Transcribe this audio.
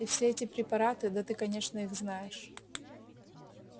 и все эти препараты да ты конечно их знаешь